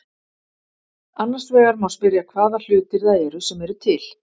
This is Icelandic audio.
Annars vegar má spyrja hvaða hlutir það eru sem eru til.